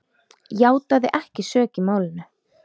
játaði ekki sök í málinu.